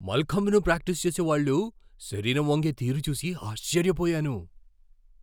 మల్ఖంబ్ను practice చేసేవాళ్ళ శరీరం వంగే తీరు చూసి ఆశ్చర్యపోయాను!